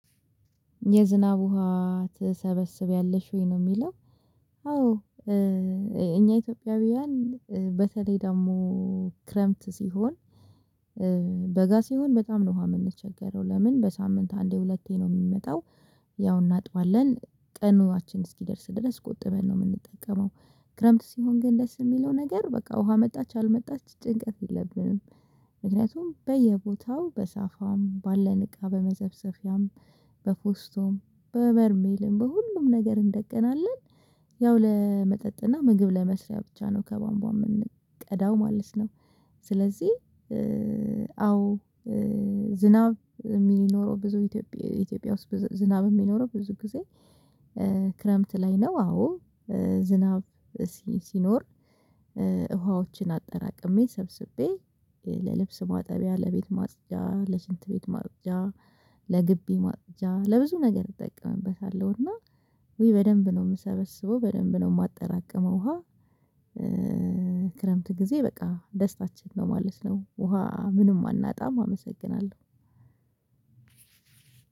የዝናብ ውሃ ትሰበስብያለሽ ወይ ነው የሚለው አዎ እኛ ኢትዮጵያውያን በተለይ ደግሞ ክረምት ሲሆን በጋ ሲሆን በጣም ነው ውሃ የምንቸገረው ለምን በሳምንት አንዴ ሁለቴ ነው የሚመጣው ያው እናጥባለን ቀናአችን እስኪደርስ ድረስ ቆጥበን ነው የምንጠቀመው ክረምት ሲሆን ግን ደስ የሚለው ነገር በቃ ውሃ መጣች አልመጣች ጭንቀት የለብንም ምክንያቱም በየቦታው በሳፋም ባለን እቃ በመዘፍዘፊያም በፖስቶም በበርሜልም በሁሉም ነገር እንደቅናለን ያው ለመጠጥና ምግብ ለመስሪያ ብቻ ነው ከባንቧ የምንቀዳው ማለት ነው ስለዚህ አዎ ዝናብ የሚኖረው ብዙ ኢትዮጵያ ኢትዮጵያ ውስጥ ዝናብ የሚኖረው ብዙ ጊዜ ክረምት ላይ ነው አዎ ዝናብ ሲኖር ውሃዎችን አጠራቅሜ ሰብስቤ ለልብስ ማጠቢያ ለቤት ማጽጃ ለሽንት ቤት ማጽጃ ለግቢ ማጽጃ ለብዙ ነገር እጠቀምበታለሁ እና ውይ በደንብ ነው የምሰበስበው በደንብ ነው የማጠራቅመው ውሃ ክረምት ጊዜ በቃ ደስታችን ነው ማለት ነው ውሃ ምንም አናጣም አመሰግናለሁ።